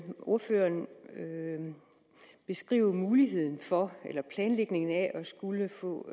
ordføreren beskrive muligheden for eller planlægningen af at skulle få